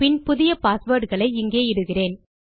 பின் புதிய பாஸ்வேர்ட் களை இங்கே இடுகிறேன்